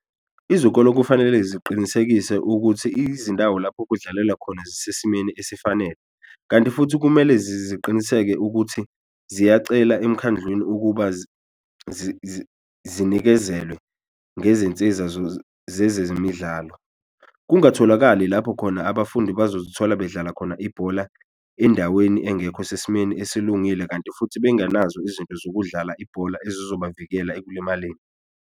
Izikolo kufanele ziqinisekise ukuthi izindawo lapho kudlalelwa khona zisesimeni esifanele, kanti futhi kumele ziqiniseke ukuthi ziyacela emkhandlwini ukuba zinikezelwe ngezinsiza zezemidlalo. Kungatholakali lapho khona abafundi bazozithola bedlala khona ibhola endaweni engekho sesimeni esilungile kanti futhi bengenazo izinto zokudlala ibhola ezizobavikela ekulimaleni.